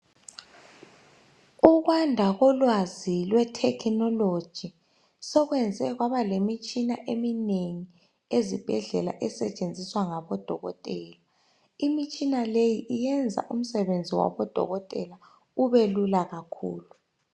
Ukwanda kolwazi lwethekhinoloji soluyenze kwaba lemitshina eminengi esetshenziswa ngabodokotela. Imitshina leyi yenza umsebenzi wabodokotela ubelula kakhulu.